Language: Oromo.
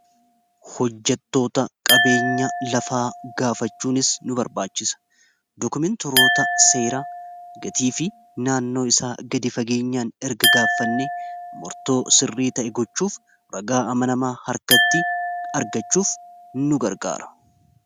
hojjatoota qabeenya lafaa gaafachuunis nu barbaachisa dokumeentiroota seeraa gatii fi naannoo isaa gadi fageenyaan erga gaaffanne murtoo sirrii ta'e gochuuf ragaa amanamaa harkatti argachuuf nu gargaara